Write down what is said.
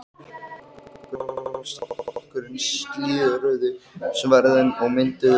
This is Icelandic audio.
Framsóknarflokkur og Sjálfstæðisflokkur slíðruðu sverðin og mynduðu